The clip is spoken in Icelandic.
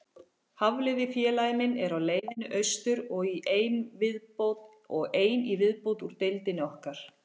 Hafliði félagi minn er á leiðinni austur, og ein í viðbót úr deildinni okkar.